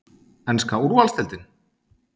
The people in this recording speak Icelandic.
Enska úrvalsdeildin?